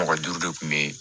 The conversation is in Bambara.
Mɔgɔ duuru de kun be yen